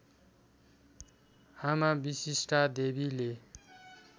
आमा विशिष्टादेवीले